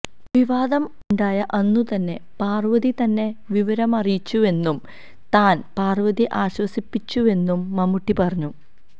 വിവാദം ഉണ്ടായ അന്നു തന്നെ പാർവ്വതി തന്നെ വിവരമറിയിച്ചിരുന്നുവെന്നും താൻ പാർവ്വതിയെ ആശ്വസിപ്പിച്ചിരുന്നുവെന്നും മമ്മൂട്ടി പറഞ്ഞു